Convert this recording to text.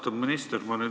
Austatud minister!